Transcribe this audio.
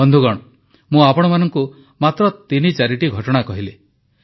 ବନ୍ଧୁଗଣ ମୁଁ ଆପଣମାନଙ୍କୁ ମାତ୍ର ତିନି ଚାରିଟି ଘଟଣା କହିଲି